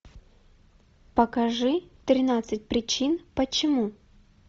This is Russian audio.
покажи тринадцать причин почему